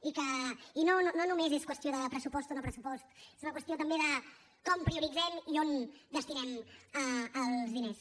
i no només és qüestió de pressupost o no pressupost és una qüestió també de com prioritzem i on destinem els diners